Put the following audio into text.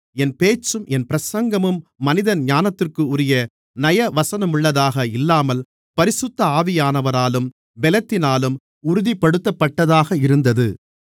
என் பேச்சும் என் பிரசங்கமும் மனித ஞானத்திற்குரிய நயவசனமுள்ளதாக இல்லாமல் பரிசுத்த ஆவியானவராலும் பெலத்தினாலும் உறுதிப்படுத்தப்பட்டதாக இருந்தது